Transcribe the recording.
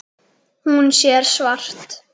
Hún sér svart.